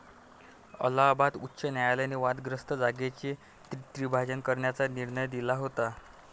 अलाहाबाद उच्च न्यायालयाने वादग्रस्त जागेचे त्रिभाजन करण्याचा निर्णय दिला होता.